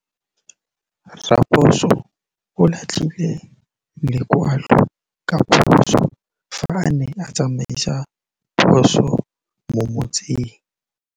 Raposo o latlhie lekwalô ka phosô fa a ne a tsamaisa poso mo motseng.